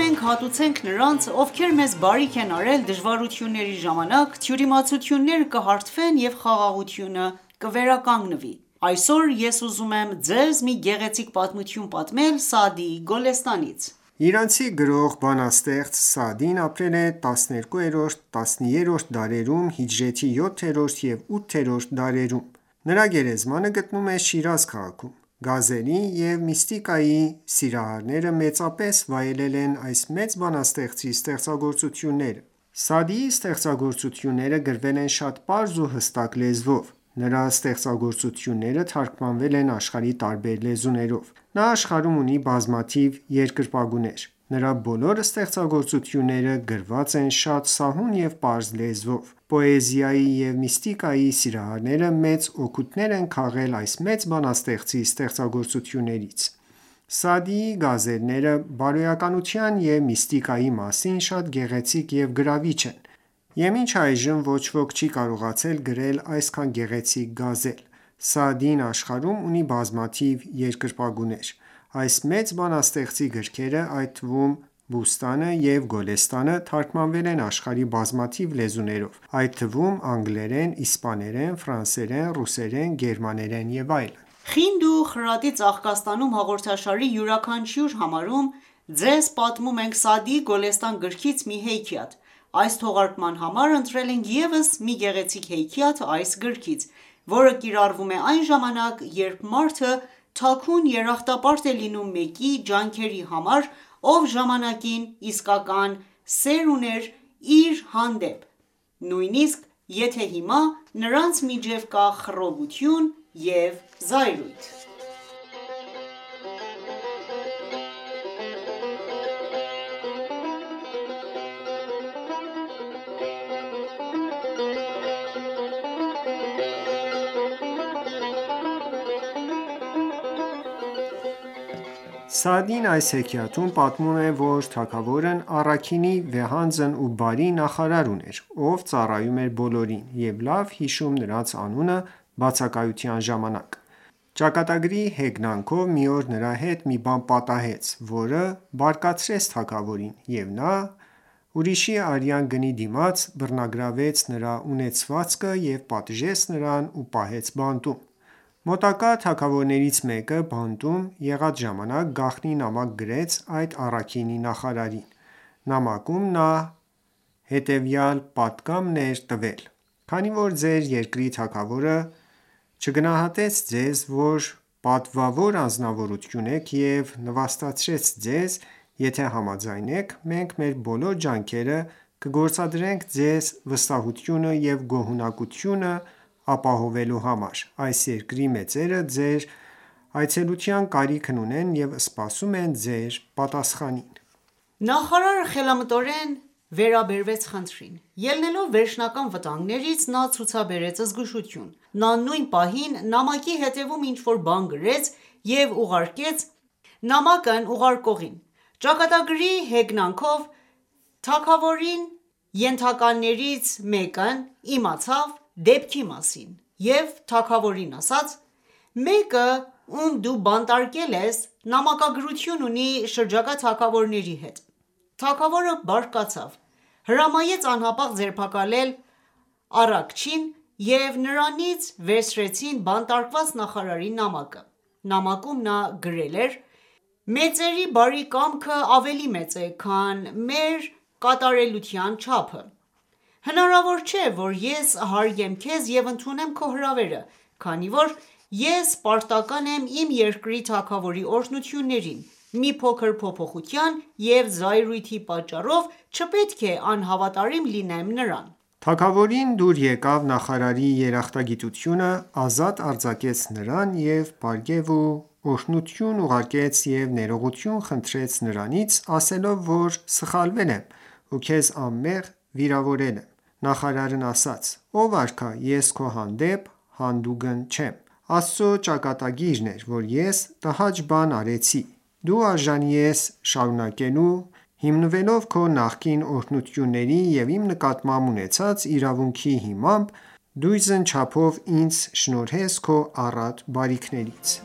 ​​մենք հատուցենք նրանց, ովքեր մեզ բարիք են արել դժվարությունների ժամանակ, թյուրիմացությունները կհարթվեն և խաղաղությունը կվերականգնվի: Այսօր ես ուզում եմ ձեզ մի գեղեցիկ պատմություն պատմել Սաադիի Գոլեստանից: Իրանցի գրող, բանաստեղծ Սաադին ապրել է 12-13-րդ դարերում (հիջրեթի 7-րդ և 8-րդ դարերում): Նրա գերեզմանը գտնվում է Շիրազ քաղաքում։ Գազելի և միստիկայի սիրահարները մեծապես վայելել են այս մեծ բանաստեղծի ստեղծագործությունները: Սաադիի ստեղծագործությունները գրվել են շատ պարզ ու հստակ լեզվով:Նրա ստեղծագործությունները թարգմանվել են աշխարհի տարբեր լեզուներով: Նա աշխարհում ունի բազմաթիվ երկրպագուներ: Նրա բոլոր ստեղծագործությունները գրված են շատ սահուն և պարզ լեզվով։ Պոեզիայի և միստիկայի սիրահարները մեծ օգուտներ են քաղել այս մեծ բանաստեղծի ստեղծագործություններից։ Սաադիի գազալները բարոյականության և միստիկայի մասին շատ գեղեցիկ և գրավիչ են, և մինչ այժմ ոչ ոք չի կարողացել գրել այդքան գեղեցիկ գազալ։ Սաադին աշխարհում ունի բազմաթիվ երկրպագուներ: Այս մեծ բանաստեղծի գրքերը, այդ թվում՝ Բուստանը և Գոլեստանը, թարգմանվել են աշխարհի բազմաթիվ լեզուներով, այդ թվում անգլերեն, իսպաներեն, ֆրանսերեն, ռուսերեն, գերմաներեն և այլն: «Խինդ ու խրատի ծաղկաստանում» հաղորդաշարի յուրաքանչյուր համարում ձեզ պատմում ենք Սաադիի Գոլեստան գրքից մի հեքիաթ: Այս թողարկման համար ընտրել ենք ևս մի գեղեցիկ հեքիաթ այս գրքից, որը կիրառվում է այն ժամանակ, երբ մարդը թաքուն երախտապարտ է լինում մեկի ջանքերի համար, ով ժամանակին իսկական սեր ուներ իր հանդեպ, նույնիսկ եթե հիմա նրանց միջև կա խռովություն և զայրույթ: Սաադին այս հեքիաթում պատմում է, որ թագավորն առաքինի վեհանձն և բարի նախարար ուներ, ով ծառայում էր բոլորին, և լավ հիշում նրանց անունը բացակայության ժամանակ: Ճակատագրի հեգնանքով, մի օր նրա հետ մի բան պատահեց, որը բարկացրեց թագավորին, և նա ուրիշի արյան գնի դիմաց բռնագրավեց նրա ունեցվածքը և պատժեց նրան ու պահեց բանտում։ Մոտակա թագավորներից մեկը բանտում եղած ժամանակ գաղտնի նամակ գրեց այդ առաքինի նախարարին։ Նամակում նա հետևյալ պատգամն էր տվել. «Քանի որ ձեր երկրի թագավորը չգնահատեց ձեզ, որ պատվավոր անձնավորություն եք, և նվաստացրեց ձեզ, եթե համաձայն եք, մենք մեր բոլոր ջանքերը կգործադրենք ձեզ վստահությունը և գոհունակությունը ապահովելու համար։ Այս երկրի մեծերը ձեր այցելության կարիքն ունեն և սպասում են ձեր պատասխանին»: Նախարարը խելամտորեն վերաբերվեց խնդրին: Ելնելով վերջնական վտանգներից՝ նա ցուցաբերեց զգուշություն։ Նա նույն պահին նամակի հետևում ինչ-որ բան գրեց և ուղարկեց նամակն ուղարկողին։ Ճակատագրի հեգնանքով, թագավորի ենթականերից մեկն իմացավ դեպքի մասին և թագավորին ասաց.«Մեկը, ում դու բանտարկել ես, նամակագրություն ունի շրջակա թագավորների հետ»: Թագավորը բարկացավ, հրամայեց անհապաղ ձերբակալել առաքիչին և նրանից վերցրեցին բանտարկված նախարարի նամակը։ Նամակում նա գրել է. «Մեծերի բարի կամքը ավելի մեծ է, քան մեր կատարելության չափը։ Հնարավոր չէ, որ ես հարգեմ քեզ և ընդունեմ քո հրավերը։ Քանի որ ես պարտական եմ իմ երկրի թագավորի օրհնություններին, մի փոքր փոփոխության և զայրույթի պատճառով չպետք է անհավատարիմ լինեմ նրան»: Թագավորին դուր եկավ նախարարի երախտագիտությունը, ազատ արձակեց նրան եւ պարգեւ ու օրհնություն ուղարկեց ու ներողություն խնդրեց նրանից, ասելով որ սխալվել եմ ու քեզ անմեղ վիրավորել եմ։ Նախարարն ասաց՝ ով արքա ես քո հանդեպ հանդուգն չեմ։ Աստծո ճակատագիրն էր, որ ես տհաճ բան արեցի, դու արժանի ես շարունակելու հիմնվելով քո նախկին օրհնությունների և իմ նկատմամբ ունեցած իրավունքի հիմամբ դույզն չափով ինձ շնորհես քո առատ բարիքներից: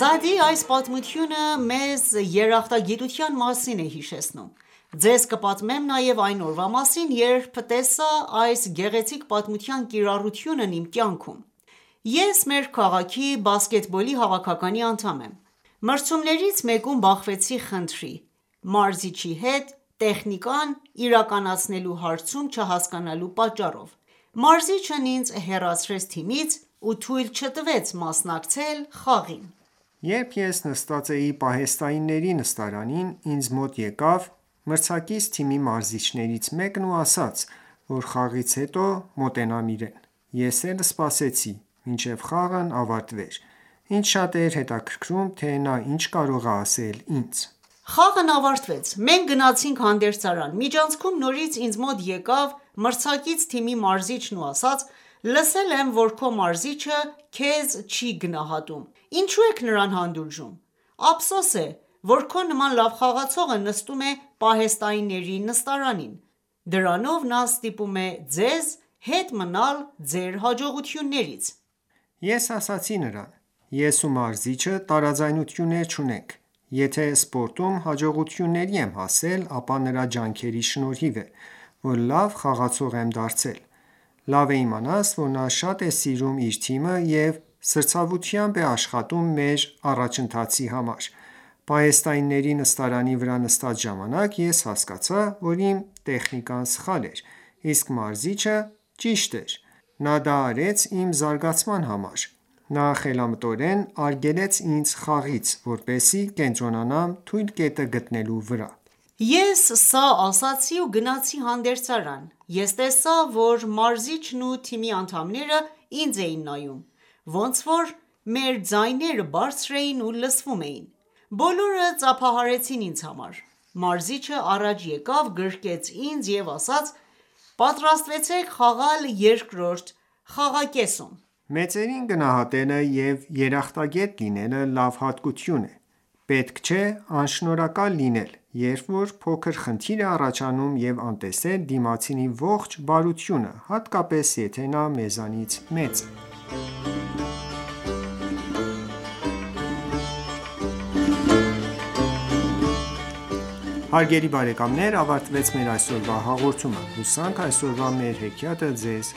Սաադիի այս պատմությունը մեզ երախտագիտության մասին է հիշեցնում։ Ձեզ կպատմեմ նաև այն օրվա մասին, երբ տեսա այս գեղեցիկ պատմության կիրառությունն իմ կյանքում։ Ես մեր քաղաքի բասկետբոլի հավաքականի անդամ եմ։ Մրցումներից մեկում բախվեցի խնդրի՝ մարզչի հետ տեխնիկան իրականացնելու հարցում չհասկանալու պատճառով։ Մարզիչն ինձ հեռացրեց թիմից ու թույլ չտվեց մասնակցել խաղին։ Երբ ես նստած էի պահեստայինների նստարանին, ինձ մոտ եկավ մրցակից թիմի մարզիչներից մեկն ու ասաց, որ խաղից հետո մոտենամ իրեն։ Ես էլ սպասեցի, մինչև խաղն ավարտվեր։ Ինձ շատ էր հետաքրքրում, թե նա ինչ կարող է ասել ինձ։ Խաղն ավարտվեց: Մենք գնացինք հանդերձարան։ Միջանցքում նորից ինձ մոտ եկավ մրցակից թիմի մարզիչն ու ասաց.«Լսել եմ, որ քո մարզիչը քեզ չի գնահատում։ Ինչո՞ւ եք նրան հանդուրժում։ Ափսոս է, որ քո նման լավ խաղացողը նստում է պահեստայինների նստարանին։ Դրանով նա ստիպում է ձեզ հետ մնալ ձեր հաջողություններից»: Ես ասացի նրան.«Ես ու մարզիչը տարաձայնություններ չունենք: Եթե ​​սպորտում հաջողությունների եմ հասել, ապա նրա ջանքերի շնորհիվ է, որ լավ խաղացող եմ դարձել: Լավ է իմանաս, որ նա շատ է սիրում իր թիմը և սրտացավությամբ է աշխատում մեր առաջընթացի համար: Պահեստայինների նստարանի վրա նստած ժամանակ ես հասկացա, որ իմ տեխնիկան սխալ էր, իսկ մարզիչը՝ ճիշտ էր: նա դա արեց իմ զարգացման համար: Նա խելամտորեն արգելեց ինձ խաղից, որպեսզի կենտրոնանամ թույլ կետը գտնելու վրա»: Ես սա ասացի ու գնացի հանդերձարան։ Ես տեսա, որ մարզիչն ու թիմի անդամները ինձ էին նայում։ Ոնց որ մեր ձայները բարձր էին ու լսվում էին։ Բոլորը ծափահարեցին ինձ համար: Մարզիչը առաջ եկավ գրկեց ինձ և ասաց.«Պատրաստվեք խաղալ երկրորդ խաղակեսում»: Մեծերին գնահատելը և երախտագետ լինելը լավ հատկություն է։ Պետք չէ անշնորհակալ լինել, երբ որ փոքր խնդիր է առաջանում և անտեսել դիմացինի ողջ բարությունը, հատկապես, եթե նա մեզնից մեծ է։ Հարգելի բարեկամներ ավարտվեց մեր այսօրվա հաղորդումը, հուսանք այսօրվա մեր հեքիաթը ձեզ